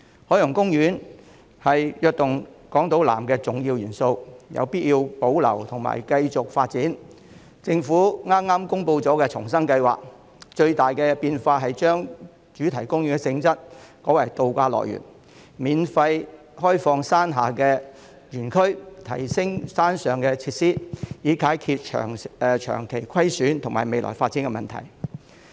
海洋公園是"躍動港島南"的重要元素，有必要保留和繼續發展，政府剛公布了重生計劃，當中最大的變動是將主題公園的性質改為渡假樂園，免費開放山下的園區和提升山上的設施，以解決長期虧損和未來發展等問題。